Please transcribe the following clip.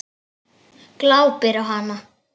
Glápir á hana.